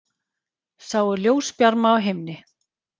Sáu ljósbjarma á himni